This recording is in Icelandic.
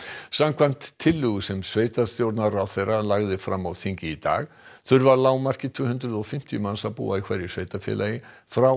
samkvæmt tillögu sem sveitarstjórnarráðherra lagði fram á þingi í dag þurfa að lágmarki tvö hundruð og fimmtíu manns að búa í hverju sveitarfélagi frá